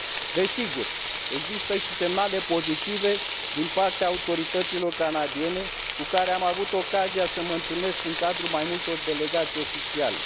Desigur, există și semnale pozitive din partea autorităților canadiene cu care am avut ocazia să mă întâlnesc în cadrul mai multor delegații oficiale.